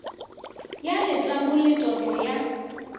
ya letamo le toto ya